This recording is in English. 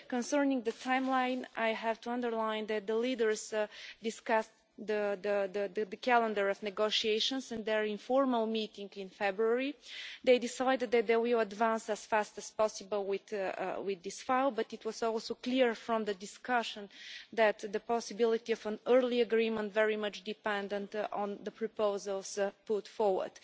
Concerning the timeline, I have to underline that the leaders discussed the calendar of negotiations at their informal meeting in February. They decided that we would advance as fast as possible with this file, but it was also clear from the discussion that the possibility of an early agreement was very much dependent on the proposals put forward.